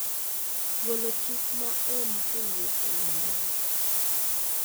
golo chik ma ohm kowuok e namba gi